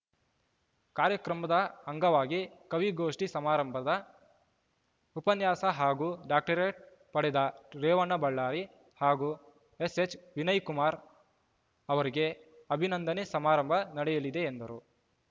ಕಾರ್ಯಕ್ರಮದ ಅಂಗವಾಗಿ ಕವಿಗೋಷ್ಠಿ ಸಮಾರಂಭದ ಉಪನ್ಯಾಸ ಹಾಗೂ ಡಾಕ್ಟರೇಟ್‌ ಪಡೆದ ರೇವಣ್ಣ ಬಳ್ಳಾರಿ ಹಾಗೂ ಎಸ್‌ಎಚ್‌ವಿನಯ್‌ಕುಮಾರ್‌ ಅವರಿಗೆ ಅಭಿನಂದನೆ ಸಮಾರಂಭ ನಡೆಯಲಿದೆ ಎಂದರು